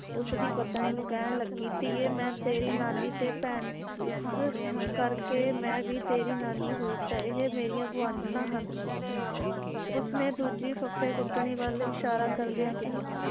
ਉਸ ਦੀ ਪਤਨੀ ਨੂੰ ਕਹਿਣ ਲੱਗੀ ਧੀਏ ਮੈ ਤੇਰੀ ਨਾਨੀ ਤੇ ਭੈਣ ਇਸ ਕਰਕੇ ਮੈ ਵੀ ਤੇਰੀ ਨਾਨੀ ਹੋਈ ਤੇ ਇਹ ਮੇਰੀਆਂ ਗੁਆਂਢਣਾਂ ਹਨ ਉਸਨੇ ਦੂਜੀ ਫੱਫੇ ਕੁੱਟਣੀ ਵੱਲ ਇਸ਼ਾਰਾ ਕਰਦਿਆਂ ਕਿਹਾ